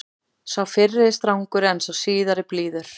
Sá fyrri er strangur en sá síðari blíður.